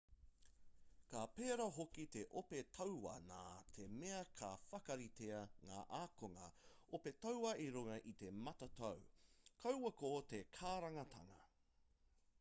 ka pērā hoki te ope tauā nā te mea ka whakaritea ngā akunga ope tauā i runga i te matatau kaua ko te karangatanga